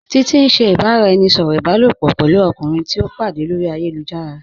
Títití n ṣẹ̀ ìbàráẹnisọ̀rọ̀ ìbàlòpọ̀ pẹ̀lú ọ̀kùnrin tìí o pàdé lórí ayélujára.